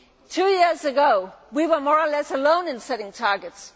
Two years ago we were more or less alone in setting targets.